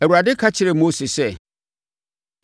Awurade ka kyerɛɛ Mose sɛ,